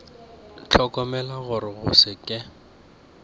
hlokomela gore go se ke